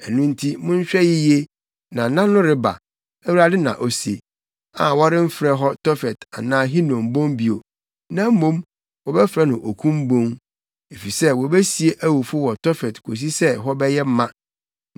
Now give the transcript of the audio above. Ɛno nti, monhwɛ yiye na nna no reba, Awurade na ose, a wɔremfrɛ hɔ Tofet anaa Hinom Bon bio, na mmom, wɔbɛfrɛ no Okum Bon, efisɛ wobesie awufo wɔ Tofet kosi sɛ hɔ bɛyɛ ma.